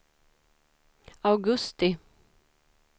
augusti